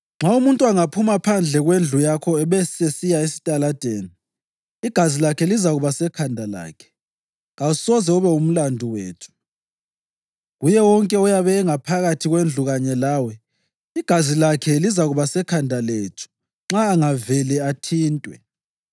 Nxa umuntu angaphuma phandle kwendlu yakho abesesiya esitaladeni, igazi lakhe lizakuba sekhanda lakhe: kawusoze ube ngumlandu wethu. Kuye wonke oyabe ephakathi kwendlu kanye lawe, igazi lakhe lizakuba sekhanda lethu nxa angavele athintwe.